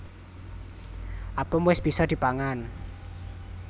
Apem wis bisa dipangan